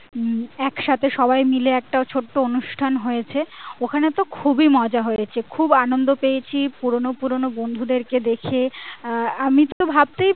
একসাথে সবাই মিলে একটা ছোট্ট অনুষ্ঠান হয়েছে ওখানে তো খুবই মজা হয়েছে খুব আনন্দ পেয়েছি পুরোনো পুরোনো বন্ধুদেরকে দেখে আহ আমি তো ভাবতেই পারিনি